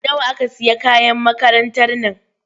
Nawa aka sayi kayan makarantar nan?